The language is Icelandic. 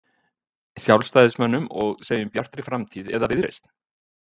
Sjálfstæðismönnum og segjum Bjartri framtíð eða Viðreisn?